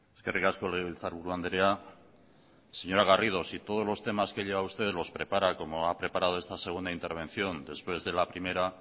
eskerrik asko legebiltzarburu andrea señora garrido si todos los temas que lleva usted los prepara como ha preparado esta segunda intervención después de la primera